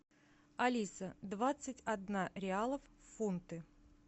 алиса двадцать одна реалов в фунты